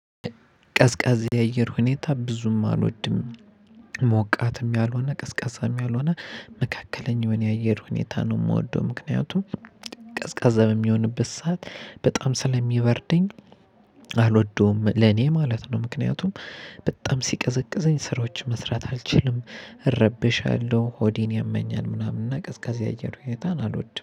ቀዝቃዛ የአየር ሁኔታ ብዙም አልወድም። ሞቃትም ያልሆነ ቀዝቃዛም ያልሆነ መካከለኛ የሆነ የአየር ሁኔታ ነው የምወደው። ምክንያቱም ቀዝቃዛ በሚሆንበት ሰዓት በጣም ስለሚበርደኝ አልወደውም ለኔ ማለት ነው። ምክንያቱም በጣም ሲቀዘቅዘኝ ስራዎች መስራት አልችልም። እረበሻለሁ ሆዴን ያመኛል ምናምን እና ቀዝቃዜ ያአየር ሁኔታን አልወድም